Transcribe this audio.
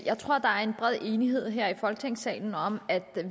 jeg tror at der er en bred enighed her i folketingssalen om at